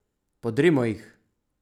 Podrimo jih!